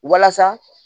Walasa